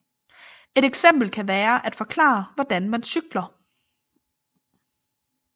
Et eksempel kan være at forklare hvordan man cykler